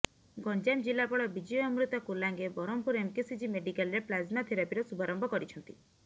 ଗଞ୍ଜାମ ଜିଲ୍ଲାପାଳ ବିଜୟ ଅମୃତା କୁଲାଙ୍ଗେ ବ୍ରହ୍ମପୁର ଏମ୍କେସିଜି ମେଡିକାଲରେ ପ୍ଲାଜମା ଥେରାପିର ଶୁଭାରମ୍ଭ କରିଛନ୍ତି